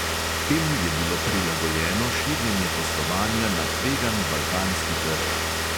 Temu je bilo prilagojeno širjenje poslovanja na tvegan balkanski trg.